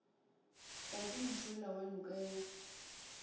tladi mošola wa noka ya